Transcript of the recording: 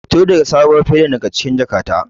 Fito da sabuwar fedar daga cikin jakata.